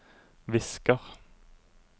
visker